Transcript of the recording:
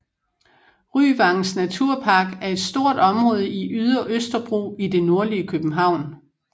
Ryvangens Naturpark er et stort område i Ydre Østerbro i det nordlige København